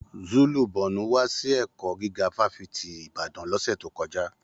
Zulu Borno wà síle ẹkọ gíga fafiti Ìbàdàn l'ọsẹ to kọjá.